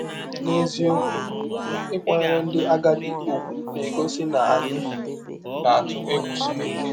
N’eziọkwụ, ịkwanyere ndị agadi ụgwụ na - egọsi na anyị na - atụ egwụ Chineke!